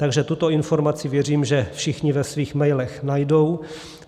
Takže tuto informaci věřím, že všichni ve svých mailech najdou.